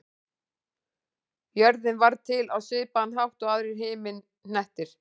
Jörðin varð til á svipaðan hátt og aðrir himinhnettir.